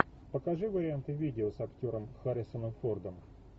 покажи варианты видео с актером харрисоном фордом